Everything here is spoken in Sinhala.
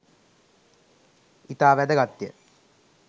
ඉතා වැදගත් ය.